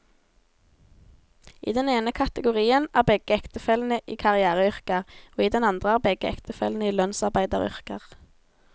I den ene kategorien er begge ektefellene i karriereyrker, og i den andre er begge ektefellene i lønnsarbeideryrker.